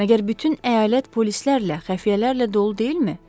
Məgər bütün əyalət polislərlə, xəfiyyələrlə dolu deyilmi?